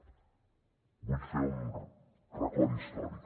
vull fer un record històric